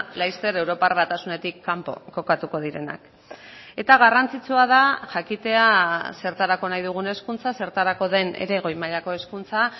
laster europar batasunetik kanpo kokatuko direnak eta garrantzitsua da jakitea zertarako nahi dugun hezkuntza zertarako den ere goi mailako hezkuntza